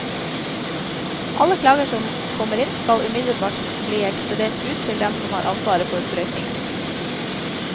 Alle klager som kommer inn skal umiddelbart bli ekspedert ut til dem som har ansvaret for brøytingen.